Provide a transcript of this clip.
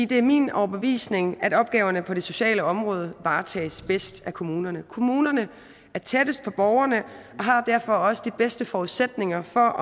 det er min overbevisning at opgaverne på det sociale område varetages bedst af kommunerne kommunerne er tættest på borgerne og har derfor også de bedste forudsætninger for